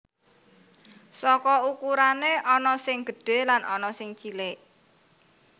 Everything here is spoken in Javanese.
Saka ukurané ana sing gedhé lan ana sing cilik